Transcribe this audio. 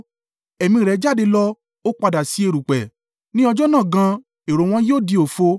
Ẹ̀mí rẹ jáde lọ, ó padà sí erùpẹ̀, ní ọjọ́ náà gan, èrò wọn yóò di òfo.